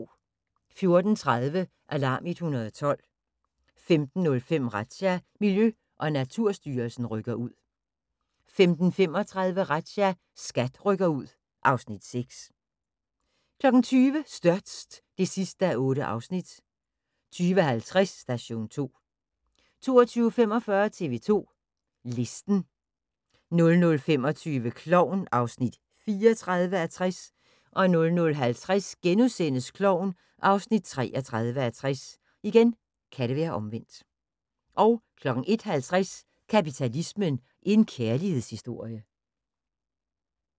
14:30: Alarm 112 15:05: Razzia – Miljø- og Naturstyrelsen rykker ud 15:35: Razzia – SKAT rykker ud (Afs. 6) 20:00: Størst (8:8) 20:50: Station 2 22:45: TV 2 Listen 00:25: Klovn (34:60) 00:50: Klovn (33:60)* 01:50: Kapitalismen – En kærlighedshistorie